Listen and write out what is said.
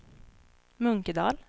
Munkedal